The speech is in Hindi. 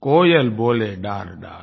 कोयल बोले डारडार